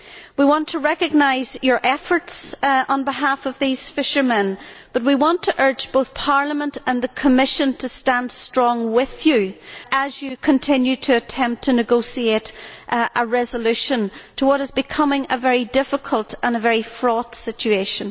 We want to recognise your efforts on behalf of these fishermen, but we also want to urge both Parliament and the Commission to stand strong with you as you continue to negotiate a resolution to what is becoming a very difficult and a very fraught situation.